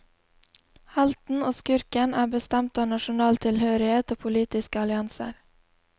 Helten og skurken er bestemt av nasjonal tilhørighet og politiske allianser.